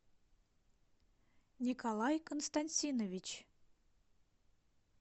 николай константинович